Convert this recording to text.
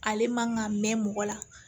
Ale man ka mɛn mɔgɔ la